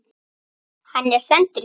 Hann er sendur til